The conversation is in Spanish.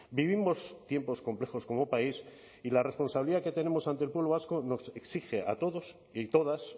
vivimos tiempos complejos como país y la responsabilidad que tenemos ante el pueblo vasco nos exige a todos y todas